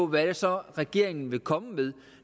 hvad det så er regeringen vil komme med